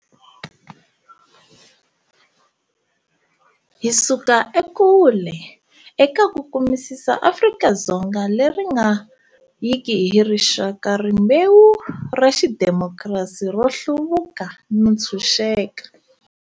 Hi suka ekule eka ku kumisisa Afrika-Dzonga leri nga yiki hi rixaka, rimbewu, ra xidimokirasi, ro hluvuka no ntshuxeka.